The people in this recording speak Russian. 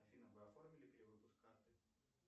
афина вы оформили перевыпуск карты